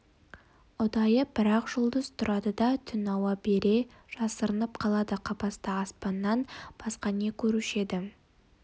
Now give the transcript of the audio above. ұдайы бір-ақ жұлдыз тұрады да түн ауа бере жасырынып қалады қапаста аспаннан басқа не көруші еді